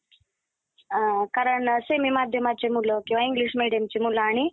कारण semi माध्यमाचे मुलं किंवा English medium चे मुलं आणि